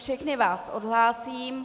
Všechny vás odhlásím.